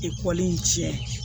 Ekɔli in tiɲɛ